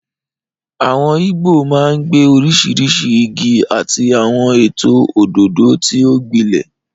Àwọn igbó máa ń gbé oríṣiríṣi igi àti àwọn ètò òdòdó tí ó gbilẹ̀.